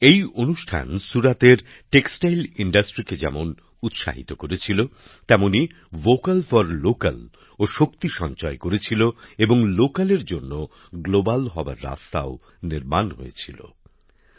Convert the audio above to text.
এই অনুষ্ঠান সুরাতের বস্ত্র শিল্পকে যেমন উৎসাহিত করেছিল তেমনই ভোকাল ফর লোক্যাল ভাবনাও শক্তি সঞ্চয় করে এবং স্থানীয় পণ্যের আন্তর্জাতিক বাজারে পৌছানোর পথও তৈরি হয়